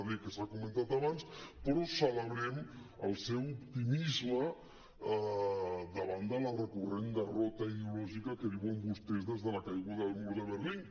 d que s’ha comentat abans però celebrem el seu optimisme davant de la recurrent derrota ideològica que viuen vostès des de la caiguda del mur de berlín